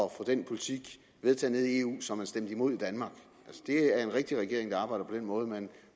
at få den politik vedtaget i eu som man stemte imod i danmark det er en rigtig regering der arbejder på den måde at man